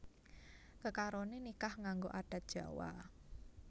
Kekaroné nikah nganggo adat Jawa